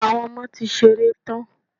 Àwọn ọmọ ti ṣeré tán.